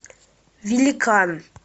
великан